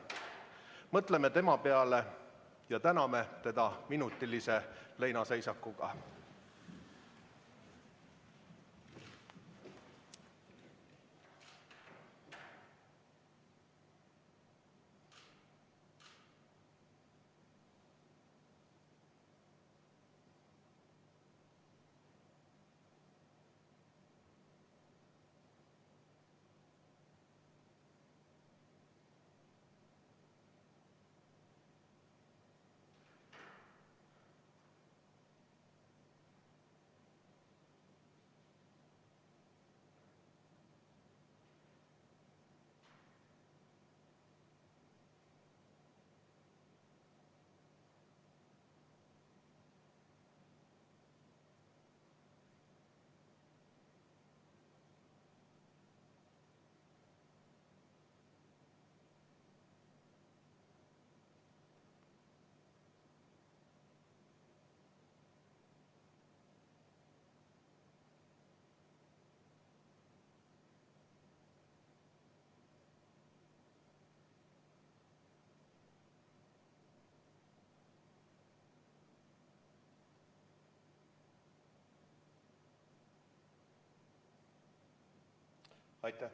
Mõtleme tema peale ja täname teda minutilise leinaseisakuga.